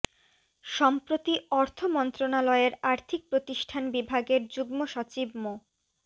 সম্প্রতি অর্থ মন্ত্রণালয়ের আর্থিক প্রতিষ্ঠান বিভাগের যুগ্ম সচিব মো